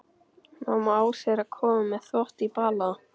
Mamma Ásu er að koma með þvott í bala.